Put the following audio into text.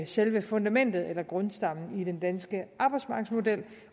selve fundamentet eller grundstammen i den danske arbejdsmarkedsmodel